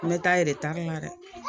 Ne ta ye la dɛ